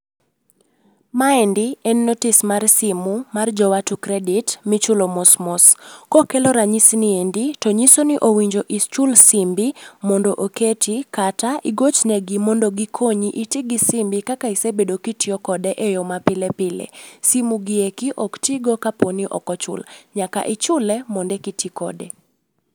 Maendi en notice mar simu mar jo Watu credit ma ichulo mos mos. Kokelo ranyisi ni endi to nyiso ni owinjo ichul simbi mondo oketi kata igoch negi mondo gikonyi. Iti gi simbi kaka isebedo ka itiyo kode eyo ma pile pile. Simu gieki ok tigo kapo ni ok ochul. Nyaka ichule eka iti kode.